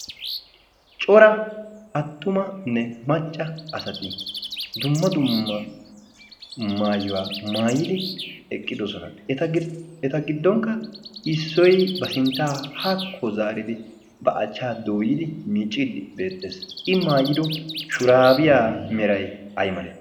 cora attumanne macca asati dumma dumma maayuwaa maayidi eqqidosona eta giddonkka issoy ba sinttaa haakko zaaridi ba achchaa dooyidi miicciiddi beexxees i maayido shuraabiyaa meray aymale